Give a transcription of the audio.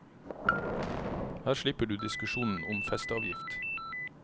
Her slipper du diskusjonen om festeavgift.